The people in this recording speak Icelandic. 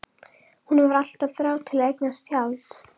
Hún hefur alltaf þráð að eignast tjald.